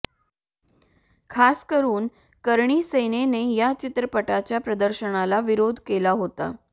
खासकरुन करणी सेनेने या चित्रपटाच्या प्रदर्शनाला विरोध केला होता